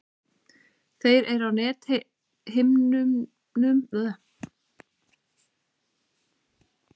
Þeir eru á nethimnunni á botni augans og eru tvenns konar, stafir og keilur.